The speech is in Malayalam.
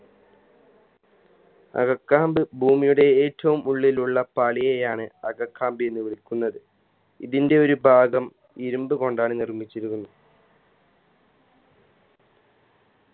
അകക്കാമ്പ് ഭൂമിയുടെ ഏറ്റവും ഉള്ളിലുള്ള പാളിയെയാണ് അകക്കാമ്പ് എന്ന് വിളിക്കുന്നത് ഇതിൻറെ ഒരു ഭാഗം ഇരുമ്പ് കൊണ്ടാണ് നിർമ്മിച്ചിരിക്കുന്നത്